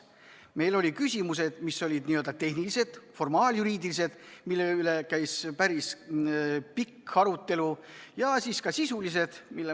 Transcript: Meil olid küsimused, mis olid n-ö tehnilised, formaaljuriidilised, ja mille üle käis päris pikk arutelu, aga siis olid ka sisulised teemad.